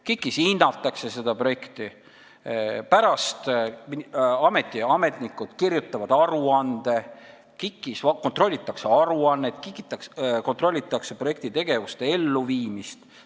KIK-is hinnatakse neid projekte, ameti ametnikud kirjutavad pärast aruande ja KIK-is kontrollitakse projekti tegevuste elluviimist.